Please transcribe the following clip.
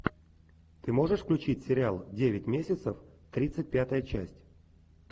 ты можешь включить сериал девять месяцев тридцать пятая часть